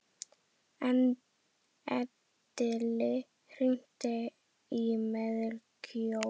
Edil, hringdu í Melkjör.